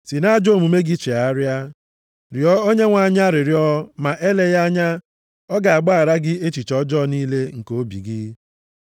Si nʼajọ omume gị chegharịa, rịọ Onyenwe anyị arịrịọ ma eleghị anya ọ ga-agbaghara gị echiche ọjọọ niile nke obi gị.